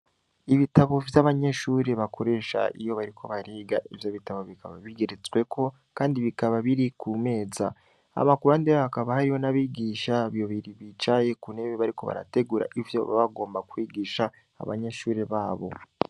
Ibitabo vy'abanyeshure bakoresha iyo bariko bariga, ivyo bitabo bikaba bigeretsweko, kandi bikaba biri ku meza; hama ku ruhande hakaba hariho n’abigisha babiri bicaye ku ntebe bakaba bariko barategura ivyo baba bagomba kwigisha abanyeshure babo.